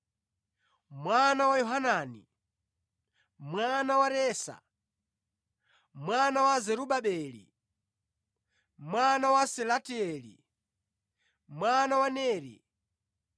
mwana wa Yohanani, mwana wa Resa, mwana wa Zerubabeli, mwana wa Salatieli, mwana wa Neri,